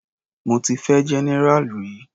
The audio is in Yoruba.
Mo ti fẹ́ general rí.